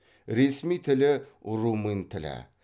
ресми тілі румын тілі